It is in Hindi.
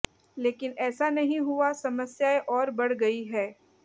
लेकिन ऐसा नहीं हुआ समस्याएं और बढ़ गई हैं